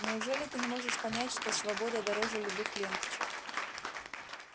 неужели ты не можешь понять что свобода дороже любых ленточек